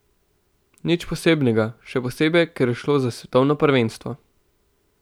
Nič posebnega, še posebej, ker je šlo za svetovno prvenstvo.